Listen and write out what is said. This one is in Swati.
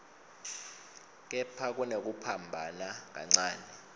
kepha kunekuphambana kancane